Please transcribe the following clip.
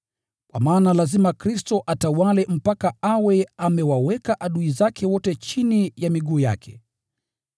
Kwa maana lazima Kristo atawale mpaka awe amewaweka adui zake wote chini ya miguu yake.